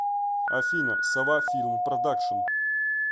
афина сова филм продакшин